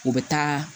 O bɛ taa